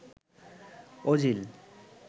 Ozil